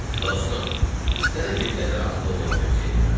Dostum, sənə bir qədər ağıllı olmağı tövsiyə eləyirəm.